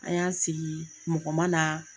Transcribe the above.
A y'an sigii mɔgɔ ma naa